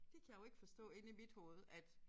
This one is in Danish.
Det kan jeg jo ikke forstå inde i mit hoved at